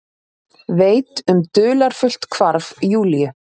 Veit um dularfullt hvarf Júlíu.